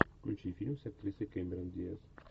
включи фильм с актрисой кэмерон диаз